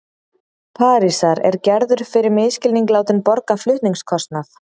Parísar er Gerður fyrir misskilning látin borga flutningskostnað.